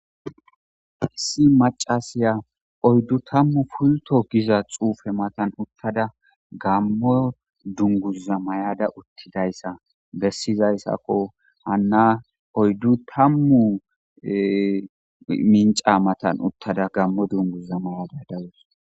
Issi macasiya oyddu tammu pulto giza xuufe matan uttada gammo dunguza mayada uttida issa bessizayssakko .Hanna oyddu tammu minca matan uttada gammo dunguza mayada dawusu.